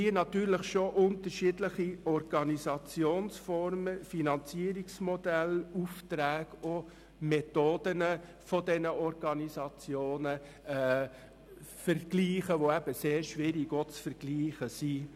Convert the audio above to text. Wir vergleichen hier unterschiedliche Organisationsformen, Finanzierungsmodelle, Aufträge und Methoden der betroffenen Organisationen miteinander, die schwierig zu vergleichen sind.